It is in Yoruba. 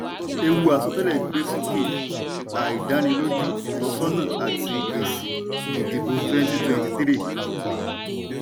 ewu àsọtẹlẹ gbé sókè àìdániloju ìtọ́sọ́nà àti èsì ìdìbò twenty twenty three